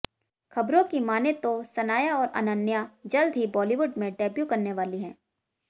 खबरों की माने तो सनाया और अनन्या जल्द ही बॉलीवुड में डेब्यू करने वाली हैं